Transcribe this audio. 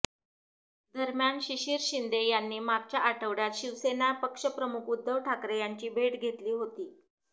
दरम्यान शिशीर शिंदे यांनी मागच्या आठवड्यात शिवसेना पक्षप्रमुख उद्धव ठाकरे यांची भेट घेतली होती